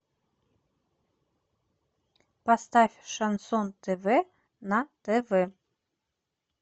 поставь шансон тв на тв